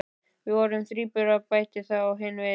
Við vorum þríburar, bætir þá hin við.